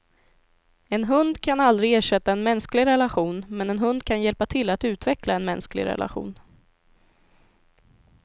En hund kan aldrig ersätta en mänsklig relation, men en hund kan hjälpa till att utveckla en mänsklig relation.